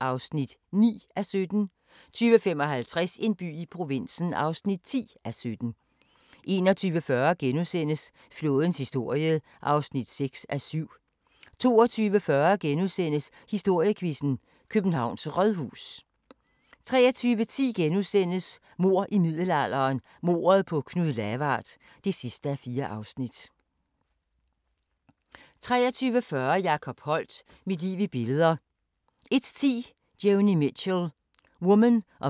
16:45: Toppen af poppen 18:25: Sæt pris på dit hjem (Afs. 23) 20:00: Legenderne (Afs. 1) 21:00: Jackie & Ryan 22:30: Krop umulig 23:25: Krop umulig – tilbage til klinikken 00:15: Station 2 Politirapporten 00:50: Station 2: Politirapporten 01:20: Det sejeste sjak - Catching Hell * 02:10: Dicte (9:10)